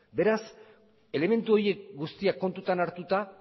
beraz elementu horiek guztiak kontutan hartuta